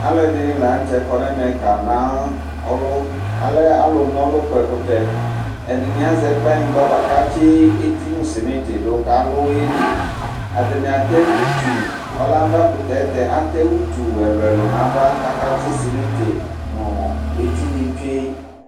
Alu ɛdɩnɩ la nʋtɛ kɔ nʋ ɛmɛ kanɔlʋ Alɛ alunɔlʋkpɔ ɛkʋtɛ Ɛdɩnɩ azɛ kplanyigba bʋakʋ atsi eti nʋ simiti du, kʋ alu yeli Ɔlɛ avakʋtɛ, ayɛlʋtɛ atani atɛ utu ɛlʋ ɛlʋ nʋ ava, kʋ akatsi simiti nʋ eti ni tsue